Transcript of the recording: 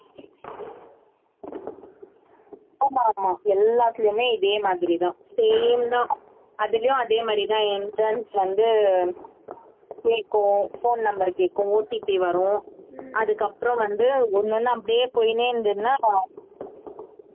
ஆமா ஆமா எல்லாத்திலையும் இதே மாதிரிதான் same தான் அதுலயும் அதே மாதிரிதான் entrance வந்து கேக்கும் phone number கேக்கும் OTP வரும் அதுக்கப்புறம் வந்து ஒண்ணு ஒண்ணா அப்படியே போயினே இருந்ததுன்னா